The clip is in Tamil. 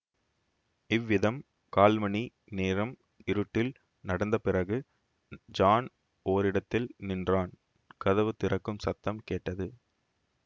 இவ்விதம் கால்மணி நேரம் இருட்டில் நடந்த பிறகு ஜான் ஓரிடத்தில் நின்றான் கதவு திறக்கும் சத்தம் கேட்டது